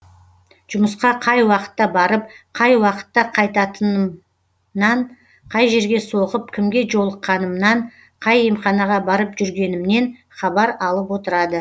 жұмысқа қай уақытта барып қай уақытта қайтатынымнан қай жерге соғып кімге жолыққанымнан қай емханаға барып жүргенімнен хабар алып отырады